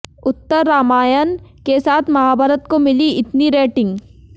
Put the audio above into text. उत्तर रामाण के साथ महाभारत को मिली इतनी रेटिंग